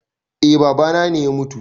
Eh babana ne ya mutu